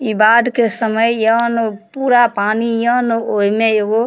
इ बाढ़ के समय यहनू पूरा पानी यहनू ओहिमे एगो --